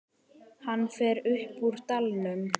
Hann fer upp úr dalnum.